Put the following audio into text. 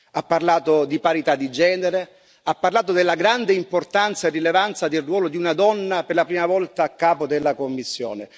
Ha parlato di parità di genere, ha parlato della grande importanza e rilevanza del ruolo di una donna per la prima volta a capo della Commissione.